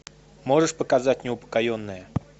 можешь показать неупокоенные